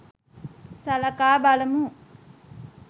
සලකා බලමු